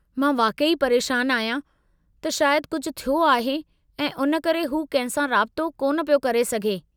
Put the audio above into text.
मां वाक़ई परेशान आहियां त शायद कुझु थियो आहे ऐं उन करे हू कंहिं सां राबितो कोन पियो करे सघे।